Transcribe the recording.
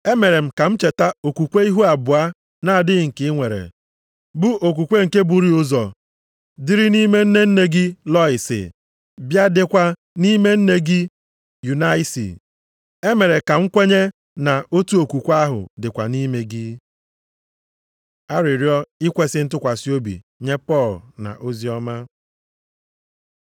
Emere m ka m cheta okwukwe ihu abụọ nʼadịghị nke i nwere, bụ okwukwe nke burii ụzọ dịrị nʼime nne nne gị Lọịsi, bịa dịkwa nʼime nne gị Yunaịsi. Emere ka m kwenye na otu okwukwe ahụ dịkwa nʼime gị. Arịrịọ ikwesi ntụkwasị obi nye Pọl na oziọma